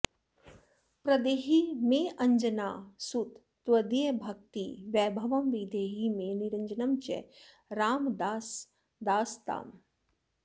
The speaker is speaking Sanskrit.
प्रदेहि मेऽञ्जनासुत त्वदीयभक्तिवैभवं विदेहि मे निरञ्जनं च रामदासदासताम्